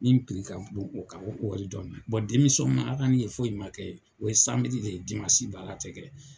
Min ka bon u ka wari dɔ ma . ma ala ye foyi ma kɛ o ye samedi de ye, dimasi baara te kɛ